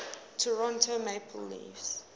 toronto maple leafs